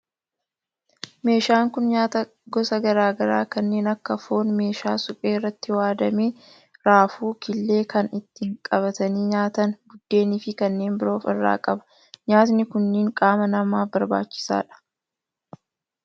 Meeshaan kun nyaataa gosa garaa garaa kanneen akka foon meeshaa suphee irratti waaddame, raafuu, killee, kan ittiin qabatanii nyaatan buddeeni fi kanneen biroo of irraa qaba. Nyaatni kunneen qaama namaaf barbaachisoodha.